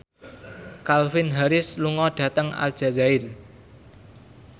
Calvin Harris lunga dhateng Aljazair